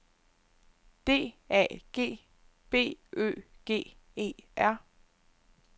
D A G B Ø G E R